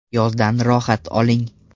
Yozdan rohat oling.